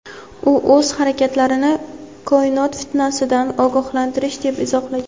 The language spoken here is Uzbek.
U o‘z harakatlarini "koinot fitnasi"dan ogohlantirish deb izohlagan.